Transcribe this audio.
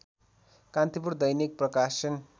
कान्तिपुर दैनिक प्रकाशन